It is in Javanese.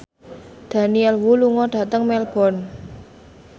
Daniel Wu lunga dhateng Melbourne